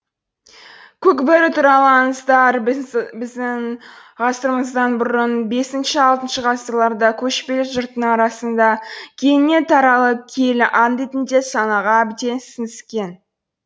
көк бөрі туралы аңыздар біздің ғасырымыздан бұрын бесінші алтыншы ғасырларда көшпелі жұрттың арасына кеңінен таралып киелі аң ретінде санаға әбден сіңіскен